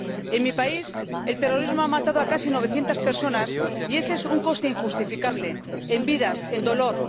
En mi país el terrorismo ha matado a casi novecientas personas, y ese es un coste injustificable, en vidas, en dolor.